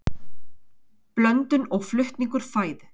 blöndun og flutningur fæðu